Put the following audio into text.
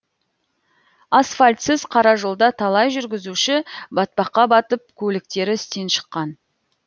асфальтсыз қара жолда талай жүргізуші батпаққа батып көліктері істен шыққан